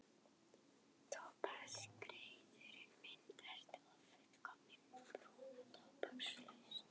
Tóbaksreykurinn myndast við ófullkominn bruna tóbakslaufsins.